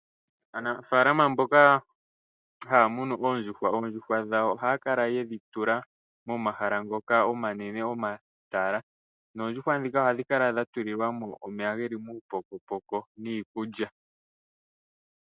Aanafalama mboka haya munu oondjuhwa, oondjuhwa dhawo ohaya kala yedhi tula momahala ngoka omanene, omatala. Noondjuhwa ndhika ohadhi kala dhatulilwa mo omeya geli muupokopoko niikulya.